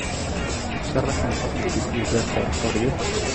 sharax muuqaalka guud ee beerta xorriyadda